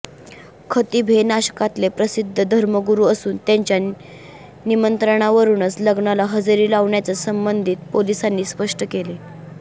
खतीब हे नाशकातले प्रसिद्ध धर्मगुरु असून त्यांच्या निमंत्रणावरुनच लग्नाला हजेरी लावल्याचं संबंधित पोलिसांनी स्पष्ट केलं